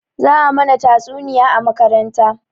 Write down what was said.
Za a mana tatsuniya a makaranta